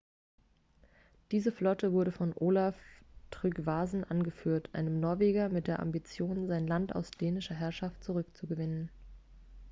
diese flotte wurde von olaf trygvasson angeführt einem norweger mit der ambition sein land aus dänischer herrschaft zurückzugewinnen